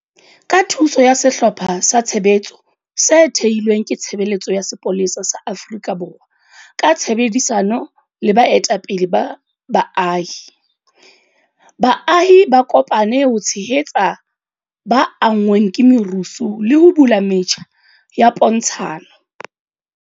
Ka thuso ya sehlopha sa tshebetso se thehilweng ke Tshebeletso ya Sepolesa sa Afrika Borwa ka tshebedisano le baetapele ba baahi, baahi ba kopane ho tshehetsa ba anngweng ke merusu le ho bula metjha ya pontshano.